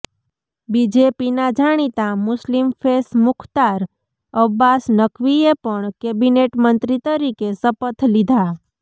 બીજેપીના જાણીતા મુસ્લિમ ફેસ મુખ્તાર અબ્બાસ નકવીએ પણ કેબિનેટ મંત્રી તરીકે શપથ લીધા